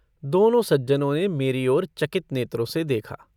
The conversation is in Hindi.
दोनों सज्जनों ने मेरी ओर चकित नेत्रों से देखा।